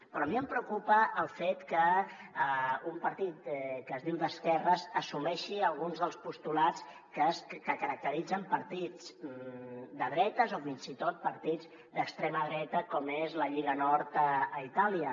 però a mi em preocupa el fet que un partit que es diu d’esquerres assumeixi alguns dels postulats que caracteritzen partits de dretes o fins i tot partits d’extrema dreta com és la lliga nord a itàlia